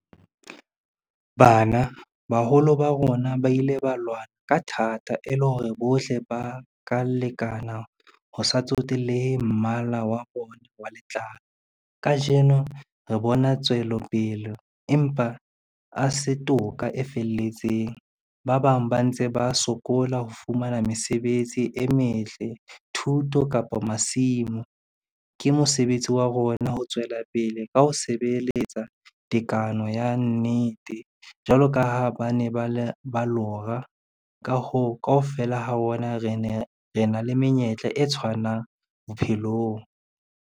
Bana, baholo ba rona ba ile ba lwana ka thata, e le hore bohle ba ka lekana, ho sa tsotellehe mmala wa bona wa letlalo. Kajeno re bona tswelopele empa a se toka e felletseng, ba bang ba ntse ba sokola ho fumana mesebetsi e metle, thuto kapa masimo. Ke mosebetsi wa rona ho tswela pele ka ho sebeletsa tekano ya nnete, jwalo ka ha ba ne ba lora, ka hoo kaofela ha rona re na le menyetla e tshwanang bophelong.